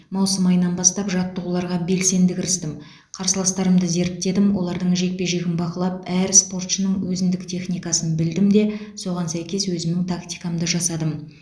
маусым айынан бастап жаттығуларға белсенді кірістім қарсыластарымды зерттедім олардың жекпе жегін бақылап әр спортшының өзіндік техникасын білдім де соған сәйкес өзімнің тактикамды жасадым